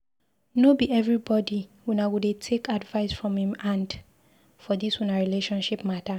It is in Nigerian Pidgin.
No be everybodi una go dey take advice from im hand for dis una relationship mata.